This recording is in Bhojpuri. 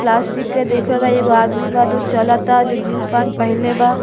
प्लास्टिक के देख रहल बा। एगो आदमी बा दु चलता जो जीन्स पैंट पहिनले बा।